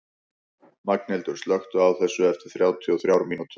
Magnhildur, slökktu á þessu eftir þrjátíu og þrjár mínútur.